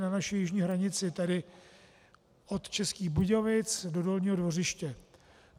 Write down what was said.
Na naši jižní hranici, tedy od Českých Budějovic do Dolního Dvořiště.